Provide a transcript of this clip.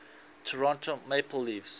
toronto maple leafs